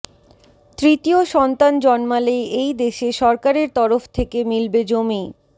তৃতীয় সন্তান জন্মালেই এই দেশে সরকারের তরফ থেকে মিলবে জমি